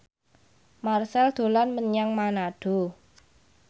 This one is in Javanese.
Marchell dolan menyang Manado